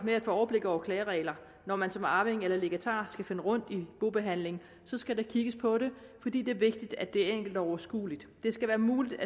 med at få overblik over klagereglerne når man som arving eller legatar skal finde rundt i bobehandlingen skal der kigges på det fordi det er vigtigt at det er enkelt og overskueligt det skal være muligt